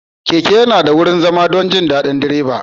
Keke yana da wurin zama don jin daɗin direba.